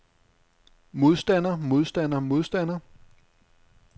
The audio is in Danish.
modstander modstander modstander